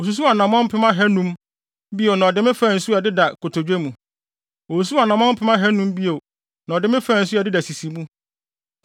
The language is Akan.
Osusuw anammɔn apem ahannum (500,000) bio na ɔde me faa nsu a ɛdeda kotodwe mu. Osusuw anammɔn apem ahannum (500,000) bio na ɔde me faa nsu a ɛdeda sisi mu.